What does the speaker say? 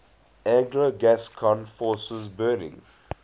anglo gascon forces burning